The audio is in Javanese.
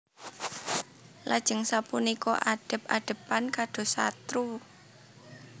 Lajeng sapunika adhep adhepan kados satru